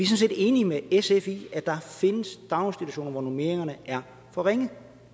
set enige med sf i at der findes daginstitutioner hvor normeringerne er for ringe